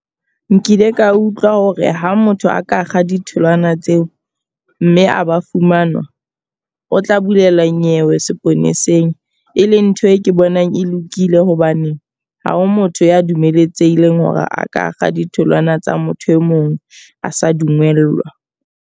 Nkile ka utlwa hore ha motho a ka kga ditholwana tseo, mme a ba fumanwa. O tla bulela nyewe seponeseng. E leng ntho e ke bonang e lokile hobane ha ho motho ya dumeletsehileng hore a ka kga ditholwana tsa motho e mong a sa dumellwa.